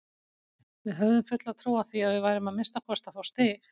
Við höfðum fulla trú á því að við værum að minnsta kosti að fá stig.